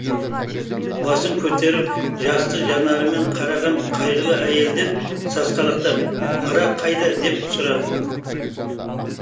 басын көтеріп жасты жанарымен қараған қайғылы әйелден сасқалақтап ара қайда деп сұрадым